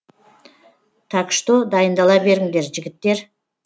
так что дайындала беріңдер жігіттер